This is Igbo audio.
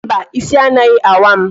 Mba, ịsị anaghị awa m